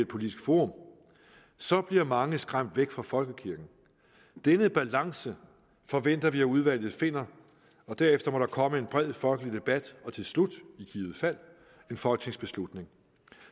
politisk forum så bliver mange skræmt væk fra folkekirken denne balance forventer vi at udvalget finder og derefter må der komme en bred folkelig debat og til slut i givet fald en folketingsbeslutning